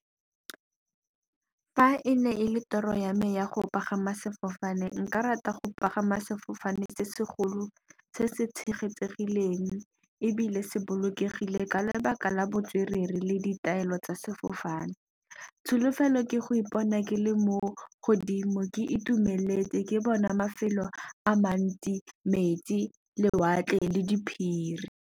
Fa e ne e le toro ya me ya go pagama sefofane, nka rata go pagama sefofane se se golo se se tshegetsegileng, ebile se bolokegile ka lebaka la botswerere le ditaelo tsa sefofane. Tsholofelo ke go ipona ke le mo godimo ke itumeletse, ke bona mafelo a mantsi metsi lewatle le diphiri.